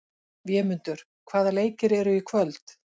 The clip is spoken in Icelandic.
Vémundur, hvaða leikir eru í kvöld?